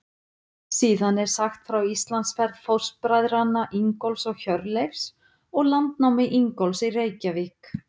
Síðan er sagt frá Íslandsferð fóstbræðranna Ingólfs og Hjörleifs og landnámi Ingólfs í Reykjavík.